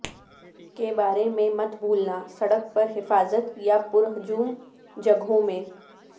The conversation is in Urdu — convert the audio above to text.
کے بارے میں مت بھولنا سڑک پر حفاظت یا پرہجوم جگہوں میں